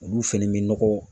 Olu fɛnɛ bi nɔgɔ.